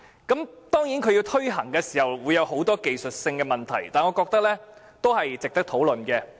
這政策推行時會有很多技術性的問題，但我覺得仍值得討論。